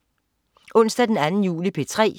Onsdag den 2. juli - P3: